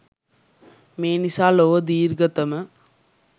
මේ නිසා ලොව දීර්ඝතම